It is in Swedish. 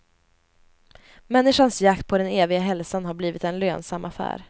Människans jakt på den eviga hälsan har blivit en lönsam affär.